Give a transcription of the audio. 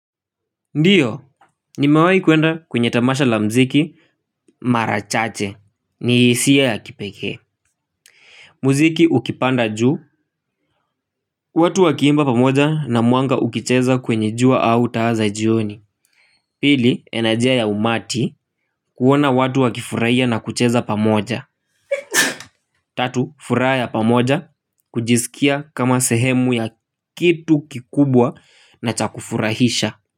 Ndiyo, nimewayi kuenda kwenye tamasha la mziki mara chache, ni hisiya ya kipeke. Mziki ukipanda juu, watu wakiimba pamoja na mwanga ukicheza kwenye jua au taa za jioni. Pili, enerjia ya umati kuona watu wakifurahia na kucheza pamoja. Tatu, furaha ya pamoja, kujisikia kama sehemu ya kitu kikubwa na chakufurahisha.